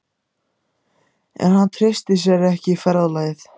En hann treysti sér ekki í ferðalagið.